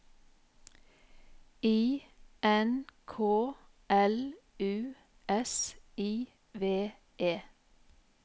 I N K L U S I V E